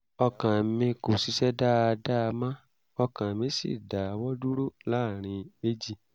ọkàn mi kò ṣiṣẹ́ dáadáa mọ́ ọkàn mi sì dáwọ́ dúró láàárín méjì